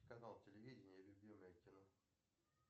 канал телевидения любимое кино